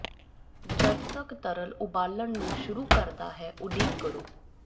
ਜਦ ਤੱਕ ਤਰਲ ਉਬਾਲਣ ਨੂੰ ਸ਼ੁਰੂ ਕਰਦਾ ਹੈ ਉਡੀਕ ਕਰੋ